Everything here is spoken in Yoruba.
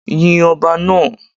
Yin ọba náà.